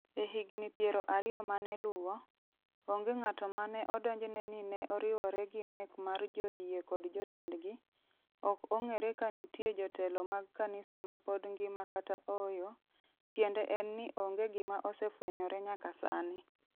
E higni piero ariyo maneluwo, onge ng'ato mane odonjne ni ne oriwore gi nek mar joyie kod jotendgi, ok ong'ere ka nitie jotelo mag kanisa ma pod ngima kata ooyo, tiende en ni onge gima osefwenyore nyaka sani.